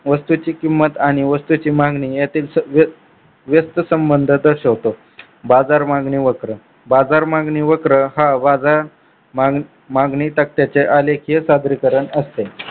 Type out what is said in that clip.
वस्तूची किंमत आणि वस्तूची मागणी यातील व्यस्थ संबंध दर्शवतो बाजार मागणी वक्र बाजार मागणी वक्र हा बाजार मागणी सत्याचे आलेखीय सादरीकरण असते.